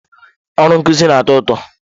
Ọrụ nkuzi na-atọ ụtọ.